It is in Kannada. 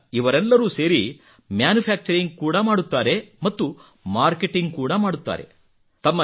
ಈಗ ಇವರೆಲ್ಲರೂ ಸೇರಿ ಮ್ಯಾನುಫ್ಯಾಕ್ಚರಿಂಗ್ ಕೂಡಾ ಮಾಡುತ್ತಾರೆ ಮತ್ತು ಮಾರ್ಕೆಟಿಂಗ್ ಕೂಡಾ ಮಾಡುತ್ತಾರೆ